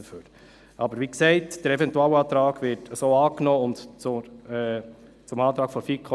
Ich erteile Grossrat Schlup von der SVP das Wort.